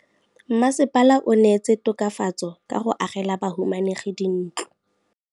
Mmasepala o neetse tokafatsô ka go agela bahumanegi dintlo.